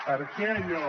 per què allò